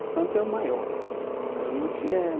O santo é o maior. A gente é